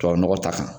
Tubabu nɔgɔ ta kan